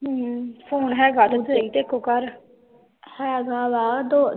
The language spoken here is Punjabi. ਫੋਨ ਹੇਗਾ ਤਾ ਸਹੀ ਤੇਰੇ ਕੋ ਘਰ